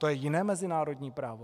To je jiné mezinárodní právo?